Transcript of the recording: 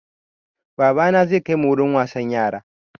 Babana zai kai mu wurin wasan yara.